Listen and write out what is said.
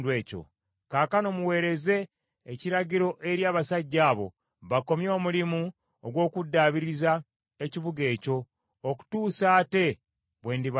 Kaakano muweereze ekiragiro eri abasajja abo bakomye omulimu ogw’okuddaabiriza ekibuga ekyo okutuusa ate bwe ndibalagira.